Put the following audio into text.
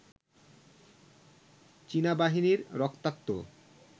চীনা বাহিনীর রক্তাক্ত